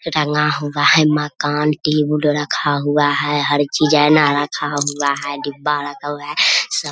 रंगा हुआ है मकान की वुड रखा हुआ है हर डिजाईन रखा हुआ है डिब्बा रखा हुआ है सब --